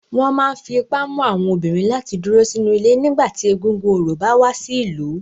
Wọn máa ń fi ipá mú àwọn obìnrin láti dúró sínú ilé nígbà tí egúngún orò bá wá sí ìlú.